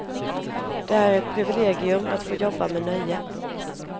Det är ett privilegium att få jobba med nöje.